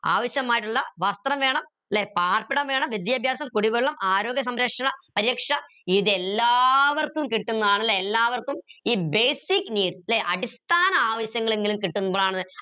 ആവശ്യമായിട്ടുള്ള വസ്ത്രം വേണം ല്ലെ പാർപ്പിടം വേണം വിദ്യാഭ്യാസം കുടിവെള്ളം ആരോഗ്യ സംരക്ഷണ പര്യക്ഷ ഇതെല്ലാവർക്കും കിട്ടുന്നാണ് ല്ലെ എല്ലാവർക്കും ഈ basic needs ല്ലെ അടിസ്ഥാന ആവശ്യങ്ങൾ എങ്കിലും കിട്ടുമ്പോളാണ്